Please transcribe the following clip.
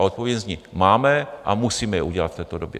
A odpověď zní - máme a musíme je udělat v této době.